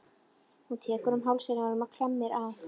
Hún tekur um hálsinn á honum og klemmir að.